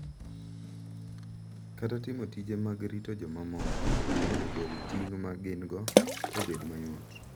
Kata timo tije mag rito jomamoko mondo ogol ting’ ma gin-go obed mayot.